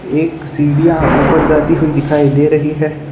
एक सीधी आंखो दिखाई दे रही है।